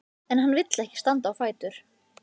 En hann vill ekki standa á fætur.